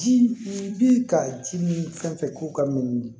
Ji bɛ ka ji mi fɛn fɛn k'u ka min